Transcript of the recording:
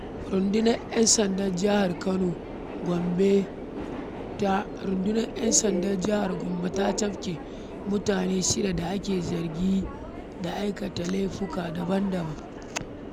Rundunar ‘Yan sandan Jihar kano Gombe da rundunar yansandan jahar gombe ta cafke mutane shida da ake zargi da aikata laifuka daban-daban.